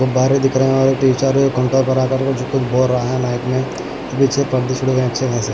गुब्बारे दिख रहे है और एक टीचर है कुंटे बरा कारको कुछ बोल रहा हैमाइक में अबिचित अबिछुड़वे अच्छे खासे।